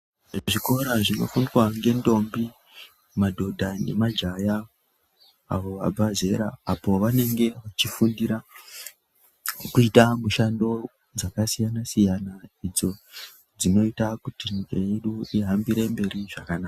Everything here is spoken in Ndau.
Zvikora zvinofundwa ngendombi madhodha nemajaya abva zera apo vanenge vechifundira kuita mushando dzakasiyana siyana idzo dzinoita kuti nyika yedu ihambire mberi zvakanaka.